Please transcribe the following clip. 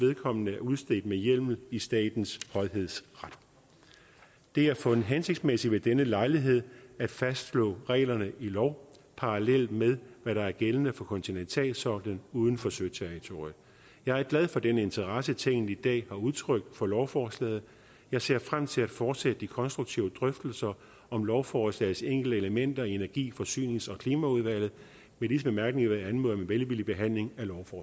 vedkommende er udstedt med hjemmel i statens højhedsret det er fundet hensigtsmæssigt ved denne lejlighed at fastslå reglerne i lov parallelt med hvad der er gældende for kontinentalsoklen uden for søterritoriet jeg er glad for den interesse tinget i dag har udtrykt for lovforslaget jeg ser frem til at fortsætte de konstruktive drøftelser om lovforslagets enkelte elementer i energi forsynings og klimaudvalget med disse bemærkninger vil jeg anmode om en velvillig behandling